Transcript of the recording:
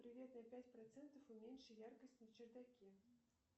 привет на пять процентов уменьши яркость на чердаке